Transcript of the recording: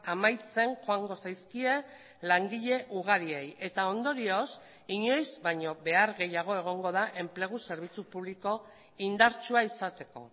amaitzen joango zaizkie langile ugariei eta ondorioz inoiz baino behar gehiago egongo da enplegu zerbitzu publiko indartsua izateko